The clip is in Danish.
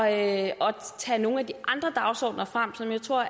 at tage nogle af de andre dagsordener frem som jeg tror